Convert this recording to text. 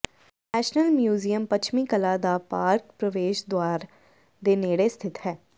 national museum ਪੱਛਮੀ ਕਲਾ ਦਾ ਪਾਰਕ ਪ੍ਰਵੇਸ਼ ਦੁਆਰ ਦੇ ਨੇੜੇ ਸਥਿਤ ਹੈ